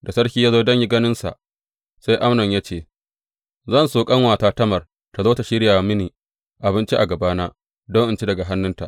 Da sarki ya zo don ganinsa, sai Amnon ya ce, Zan so ƙanuwata Tamar tă zo tă shirya mini abinci a gabana, don in ci daga hannunta.